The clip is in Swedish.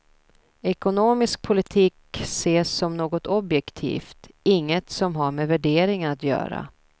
Ekonomisk politik ses som något objektivt, inget som har med värderingar att göra.